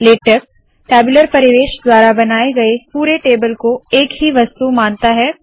LaTeX tabular परिवेश द्वारा बनाए गए पुरे टेबल को एक ही वस्तु मानता है